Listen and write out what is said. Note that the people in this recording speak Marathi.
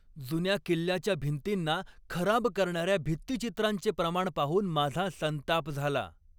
जुन्या किल्ल्याच्या भिंतींना खराब करणाऱ्या भित्तिचित्रांचे प्रमाण पाहून माझा संताप झाला.